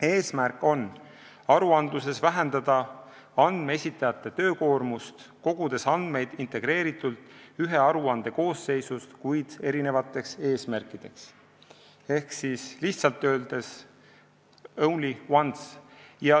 Eesmärk on vähendada andmeesitajate töökoormust aruandluses, mille tõttu hakatakse andmeid koguma integreeritult ühe aruande koosseisust, kuid eri eesmärkideks, ehk lihtsalt öeldes only once.